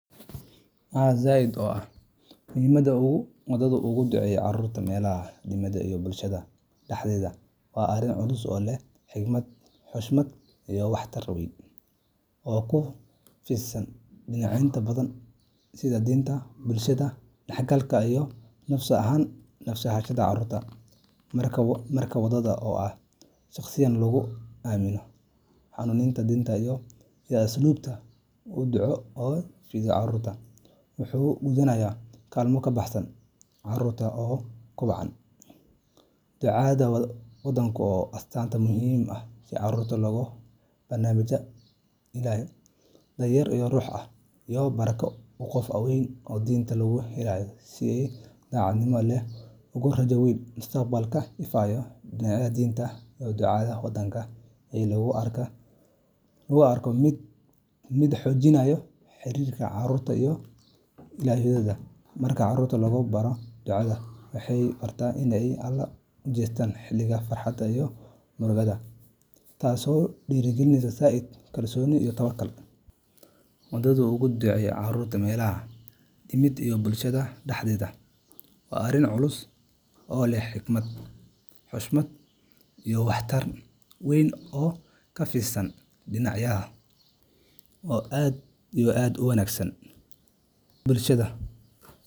Haa zaid oo ah Muhiimadda uu wadaaddu uga duceeyo carruurta meelaha diimeed iyo bulshada dhexdeeda waa arrin culus oo leh xigmad, xushmad, iyo waxtar weyn oo ku fidsan dhinacyo badan sida diinta, bulshada, dhanganka iyo nafsi ahaanshaha carruurta. Marka wadaad oo ah shakhsiga lagu aamino hanuuninta diinta iyo asluubta uu duco u fidiyo carruurta, wuxuu gudanayaa kaalmo ka baxsan keliya salaadda ama baridda axkaamta diiniga ah; wuxuu sidoo kale noqonayaa iftiin iyo barako carruurtu ku kobcaan. Ducada wadaadku waa astaan muujinaysa in carruurta lagu barbaarinayo ilaalin Allah, daryeel ruuxi ah, iyo barako uu qof weyn oo diinta u heellan si daacadnimo leh ugu rajeynayo mustaqbal ifaya. Dhinaca diinta, ducada wadaadka ayaa loo arkaa mid xoojinaysa xiriirka carruurta iyo Ilaahooda. Marka carruurta lagu baro ducada, waxay bartaan in ay Alle u jeestaan xilliga farxadda iyo murugada, taasoo dhisaysa zaid. kalsooni iyo tawakkul. Wadaaddu uga duceeyo carruurta meelaha diimeed iyo bulshada dhexdeeda waa arrin culus oo leh xigmad, xushmad, iyo waxtar weyn oo ku fidsan dhinacyo oo aad iyo aad u wanagsan bulshada.